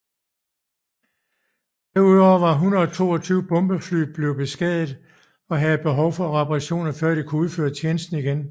Derudover var 122 bombefly blevet beskadiget og havde behov for reparationer før de kunne udføre tjeneste igen